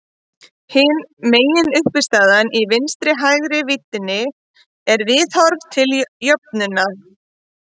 Hin meginuppistaðan í vinstri-hægri víddinni er viðhorf til jöfnuðar.